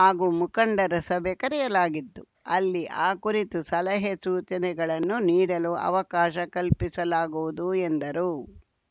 ಹಾಗೂ ಮುಖಂಡರ ಸಭೆ ಕರೆಯಲಾಗಿದ್ದು ಅಲ್ಲಿ ಈ ಕುರಿತು ಸಲಹೆಸೂಚನೆಗಳನ್ನು ನೀಡಲು ಅವಕಾಶ ಕಲ್ಪಿಸಲಾಗುವುದು ಎಂದರು